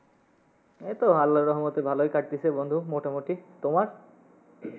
এই তো আল্লার রহমতে ভালোই কাটতিসে বন্ধু মোটামুটি, তোমার?